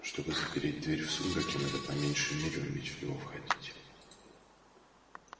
чтобы запереть дверь в сумраке надо по меньшей мере уметь в него входить